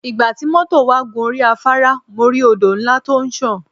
Ìgbà tí mọ́tọ̀ wà gun orí afAárá mo rí Odò ńlá tí ó ń sàn.